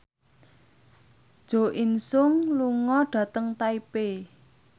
Jo In Sung lunga dhateng Taipei